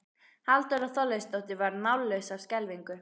Halldóra Þorleifsdóttir varð mállaus af skelfingu.